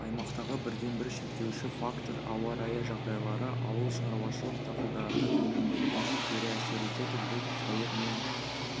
аймақтағы бірден-бір шектеуші фактор ауа-райы жағдайлары ауыл шаруашылық дақылдарының өнімділігіне кері әсер етеді бұл сәуір мен